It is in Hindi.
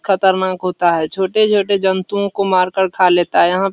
खतरनाक होता है छोटे-छोटे जंतुओं को मारकर खा लेता है। यहाँ --